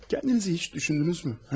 Özünüzü heç düşündünüzmü?